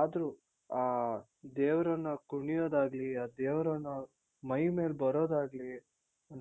ಆದ್ರೂ ಆ ದೇವ್ರನ್ನ ಕುಣಿಯೋದಾಗ್ಲಿ ಆ ದೇವ್ರನ್ನ ಮೈ ಮೇಲ್ ಬರೋದಾಗ್ಲಿ